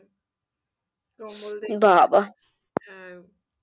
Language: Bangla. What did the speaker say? হ্যাঁ